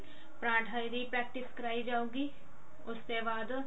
ਪਰਾਂਠਾ ਦੀ practice ਕਰਵਾਈ ਜਾਉਗੀ ਉਸਤੇ ਬਾਅਦ